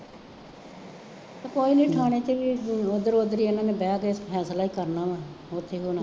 ਅਤੇ ਕੋਈ ਨਹੀਂ ਥਾਣੇ ਚ ਵੀ ਇੱਧਰੋ ਉੱਧਰੀ ਇਹਨਾ ਨੇ ਬਹਿ ਕੇ ਫੈਸਲਾ ਹੀ ਕਰਨਾ ਵਾ, ਹੋਰ ਕੀ ਹੋਣਾ